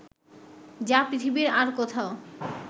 যা পৃথিবীর আর কোথাও